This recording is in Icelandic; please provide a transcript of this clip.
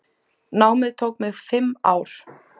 Námið tók mig fimm ár.